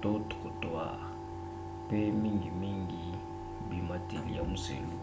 trottoirs pe mingimingi bimateli ya muselu